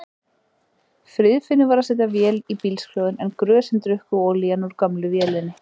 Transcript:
Friðfinnur var að setja vél í bílskrjóðinn en grösin drukku olíuna úr gömlu vélinni.